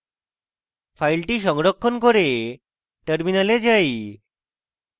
file সংরক্ষণ করে terminal যাই